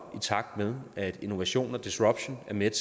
i takt med at innovation og disruption er med